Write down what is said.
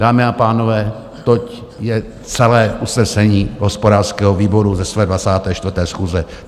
Dámy a pánové, toť je celé usnesení hospodářského výboru z jeho 24. schůze.